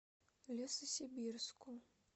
лесосибирску